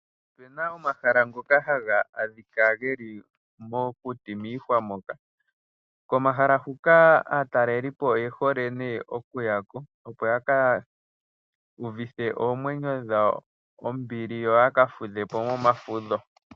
Opena omahala ngoka haga adhika geli mokuti miihwa moka. Komahala huka aatalelipo oye hole ko nee okuya ko, opo yaka uvithe oomwenyo dhawo ombili yo yaka fudhe po momafudho.